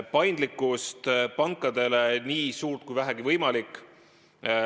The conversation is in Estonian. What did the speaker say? Paindlikkus pankadel peaks olema nii suur kui vähegi võimalik.